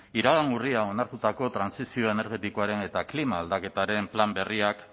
iragan urrian onartutako trantsizio energetikoaren eta klima aldaketaren plan berriak